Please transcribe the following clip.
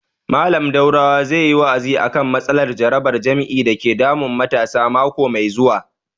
Mallam Daurawa zai yi wa'azi a kan matsalar jarabar jima'i dake damun matasa mako mai zuwa